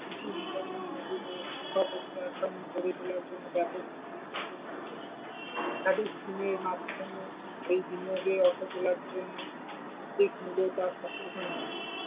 কৃষির বিকল্প গড়ে তোলার জন্যে একাধিক scheme এর মাধ্যমে এই বিনিয়োগের অর্থ তোলার জন্য ।